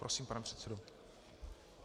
Prosím, pane předsedo.